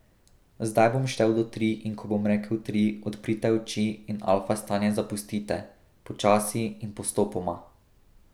Zdaj bom štel do tri in ko bom rekel tri, odprite oči in alfa stanje zapustite, počasi in postopoma.